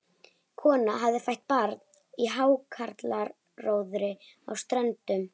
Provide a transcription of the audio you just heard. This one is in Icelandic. Kona hafði fætt barn í hákarlaróðri á Ströndum.